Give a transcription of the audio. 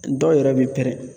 Dɔw yɛrɛ bɛ pɛrɛn